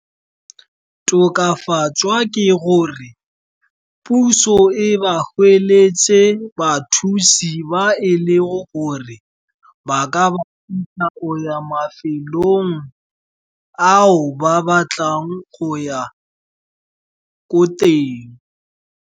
Tokafatswa ke gore puso e ba gweletse bathusi ba e le gore ba ka ya mafelong ao ba batlang go ya ko teng.